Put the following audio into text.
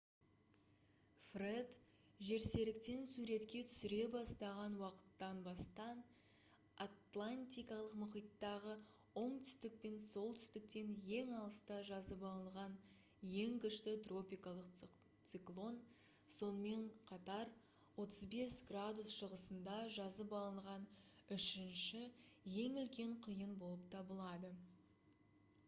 фред жерсеріктен суретке түсіре бастаған уақыттан бастан атлантикалық мұхиттағы оңтүстік пен солтүстіктен ең алыста жазып алынған ең күшті тропикалық циклон сонымен қатар 35°w шығысында жазып алынған үшінші ең үлкен құйын болып табылады